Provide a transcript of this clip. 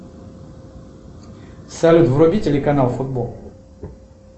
салют вруби телеканал футбол